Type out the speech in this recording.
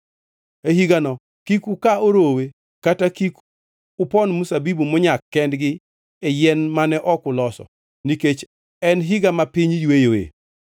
E higano kik uka orowe kata kik upon mzabibu monyak kendgi e yien mane ok uloso, nikech en higa ma piny yweyoe.